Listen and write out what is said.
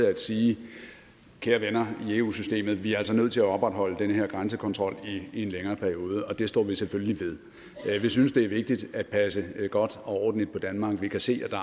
at sige kære venner i eu systemet vi er altså nødt til at opretholde den her grænsekontrol i en længere periode og det står vi selvfølgelig ved vi synes det er vigtigt at passe godt og ordentligt på danmark vi kan se at der